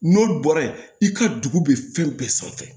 N'olu bɔra yen i ka dugu bɛ fɛn bɛɛ sanfɛ